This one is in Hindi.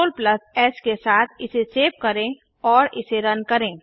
Ctrl एस के साथ इसे सेव करें और इसे रन करें